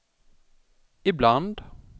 ibland